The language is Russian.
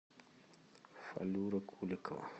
фалюра куликова